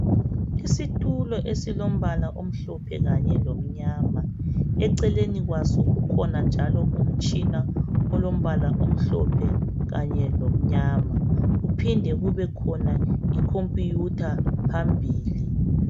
Isitulo esilombala omhlophe kanye lomnyama. Eceleni kwaso kukhona njalo umtshina olombala omhlophe kanye lomnyama kuphinde kubekhona iComputer phambili.